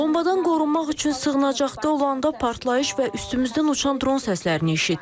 partlayış və üstümüzdən uçan dron səslərini eşitdik.